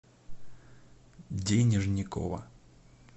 денежникова